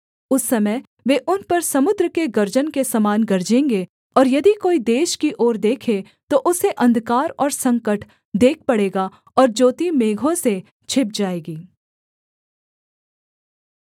उस समय वे उन पर समुद्र के गर्जन के समान गरजेंगे और यदि कोई देश की ओर देखे तो उसे अंधकार और संकट देख पड़ेगा और ज्योति मेघों से छिप जाएगी